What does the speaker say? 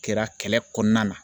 Kɛra kɛlɛ kɔnɔna na